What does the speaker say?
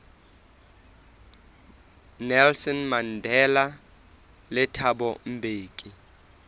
nelson mandela le thabo mbeki